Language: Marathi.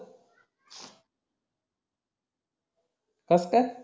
कस काय